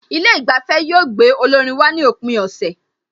Ilé ìgbafẹ́ yóò gbé olórin wá ní òpin ọ̀sẹ̀